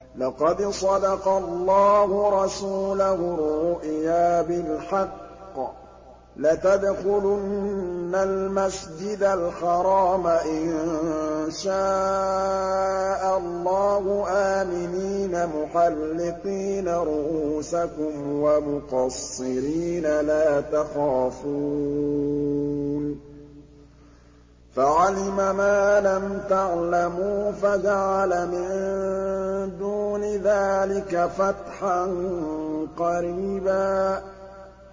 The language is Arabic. لَّقَدْ صَدَقَ اللَّهُ رَسُولَهُ الرُّؤْيَا بِالْحَقِّ ۖ لَتَدْخُلُنَّ الْمَسْجِدَ الْحَرَامَ إِن شَاءَ اللَّهُ آمِنِينَ مُحَلِّقِينَ رُءُوسَكُمْ وَمُقَصِّرِينَ لَا تَخَافُونَ ۖ فَعَلِمَ مَا لَمْ تَعْلَمُوا فَجَعَلَ مِن دُونِ ذَٰلِكَ فَتْحًا قَرِيبًا